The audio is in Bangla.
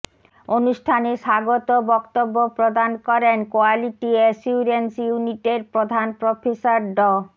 অনুষ্ঠানে স্বাগত বক্তব্য প্রদান করেন কোয়ালিটি এসিউরেন্স ইউনিটের প্রধান প্রফেসর ড